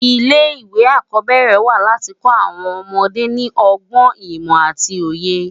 Ilé iwé ákòbèrè wá láti kò áwòn òmòdé ni ògbòn, imò áti óyé